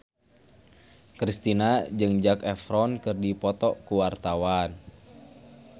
Kristina jeung Zac Efron keur dipoto ku wartawan